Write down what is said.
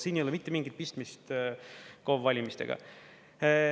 Siin ei ole mitte mingit pistmist KOV-valimistega.